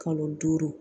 Kalo duuru